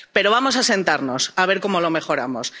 Pero vamos a sentarnos, a ver cómo lo mejoramos.